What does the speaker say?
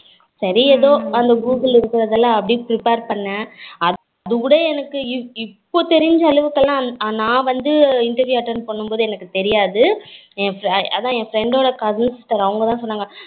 சரி ஏதோ அந்த google ல இருக்குறது எல்லாம் அப்படி prepare பண்னேன், அதுகூட எனக்கு இப்போ தெரிஞ்சது அளவுக்கு கூட நா வந்து interview attend பண்ணும் போது எனக்கு தெரியாது என் அதான் friend ஓட cousin sister அவங்க தான் சொன்னாங்க